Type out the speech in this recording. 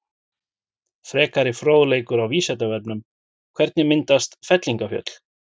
Frekari fróðleikur á Vísindavefnum: Hvernig myndast fellingafjöll?